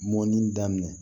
Mɔnni daminɛ